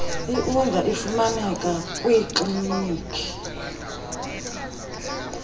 iud ifumaneka kwiikliniki